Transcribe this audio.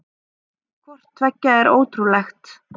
Hvort tveggja er ótrúlegt.